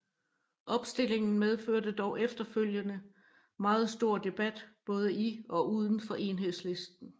Opstillingen medførte dog efterfølgende meget stor debat både i og udenfor Enhedslisten